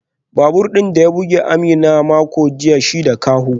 Babur din da ya bugi Amina a makon jiya ba shi da kaho